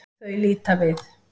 Þau líta við.